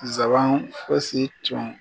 Nsaban fosi tun